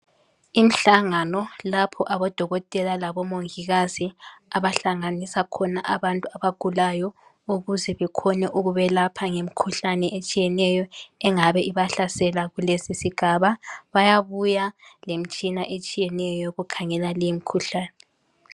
Imihlangano lapho odokotela labomongikazi abahlanganisa khona abantu abagulayo ukuze bakhone ikubelapha ngemikhuhlane etshiyeneyo engabe ibahlasela kulesisigaba bayabuya lemitshina etshiyeneyo yokukhangela leyi mikhuhlane.